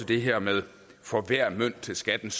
det her med for hver mønt til skattens